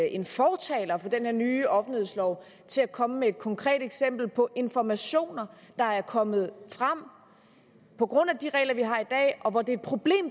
en fortaler for den her nye offentlighedslov til at komme med et konkret eksempel på informationer der er kommet frem på grund af de regler vi har i dag og hvor det er et problem